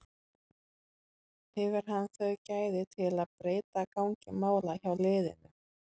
Hefur hann þau gæði til að breyta gangi mála hjá liðinu?